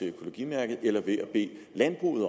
økologimærket eller ved at bede landbruget